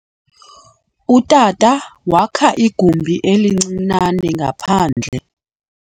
Utata wakha igumbi elincinane ngaphandle.